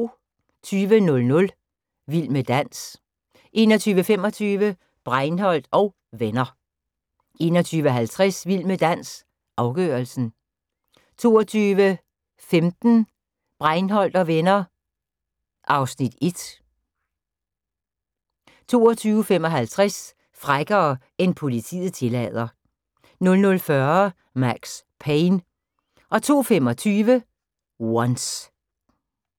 20:00: Vild med dans 21:25: Breinholt & Venner 21:50: Vild med dans – afgørelsen 22:15: Breinholt & Venner (Afs. 1) 22:55: Frækkere end politiet tillader 00:40: Max Payne 02:25: Once